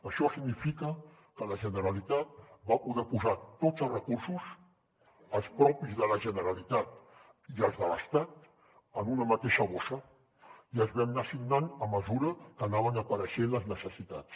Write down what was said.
això significa que la generalitat va poder posar tots els recursos els propis de la generalitat i els de l’estat en una mateixa bossa i els vam anar assignant a mesura que anaven apareixent les necessitats